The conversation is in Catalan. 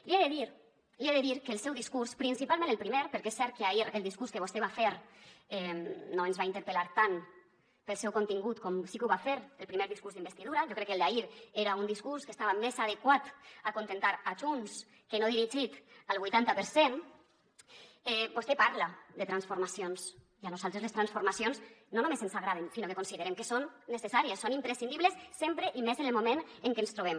li he de dir li he de dir que al seu discurs principalment al primer perquè és cert que ahir el discurs que vostè va fer no ens va interpel·lar tant pel seu contingut com sí que ho va fer el primer discurs d’investidura jo crec que el d’ahir era un discurs que estava més adequat a acontentar a junts que no dirigit al vuitanta per cent vostè parla de transformacions i a nosaltres les transformacions no només ens agraden sinó que considerem que són necessàries són imprescindibles sempre i més en el moment en què ens trobem